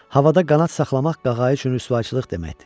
Havada qanad saxlamaq qağayı üçün rüsvayçılıq deməkdir.